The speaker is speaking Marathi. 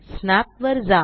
स्नॅप वर जा